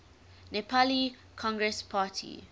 nepali congress party